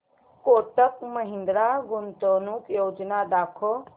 कोटक महिंद्रा गुंतवणूक योजना दाखव